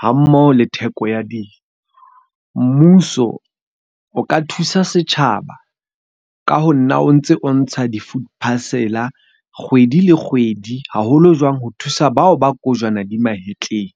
ha mmoho le theko ya dijo. Mmuso o ka thusa setjhaba, ka ho nna o ntse o ntsha di-food parcel kgwedi le kgwedi, haholo jwang ho thusa bao ba kojwana di mahetleng.